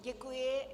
Děkuji.